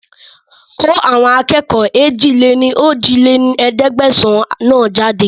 Kó àwọn akẹ́kọ̀ọ́ èjì-lé-ní-ojì lé ní ẹ̀ẹ́dẹ́gbẹ́sán náà jáde